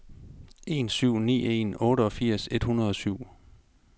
en syv ni en otteogfirs et hundrede og syv